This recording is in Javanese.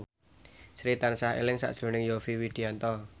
Sri tansah eling sakjroning Yovie Widianto